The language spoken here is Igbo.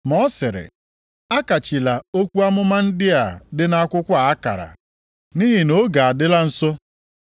Ma ọ sịrị, “Akachila okwu amụma ndị a dị nʼakwụkwọ akara, nʼihi na oge adịla nso.